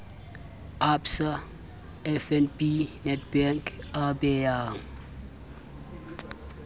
absa fnb nedbank a beyang